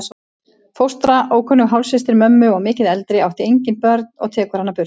Fóstra, ókunnug hálfsystir mömmu og miklu eldri, átti engin börnin og tekur hana burt.